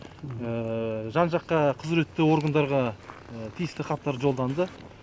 жан жаққа құзіретті органдарға тиісті хаттар жолданды